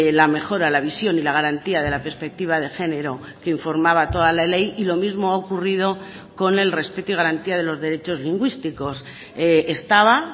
la mejora la visión y la garantía de la perspectiva de género que informaba toda la ley y lo mismo ha ocurrido con el respeto y garantía de los derechos lingüísticos estaba